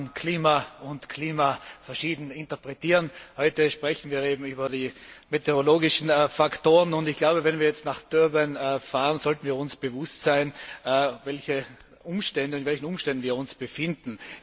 Man kann Klima und Klima verschieden interpretieren. Heute sprechen wir eben über die meteorologischen Faktoren, und ich glaube, wenn wir jetzt nach Durban fahren, sollten wir uns bewusst sein, in welchen Umständen wir uns befinden.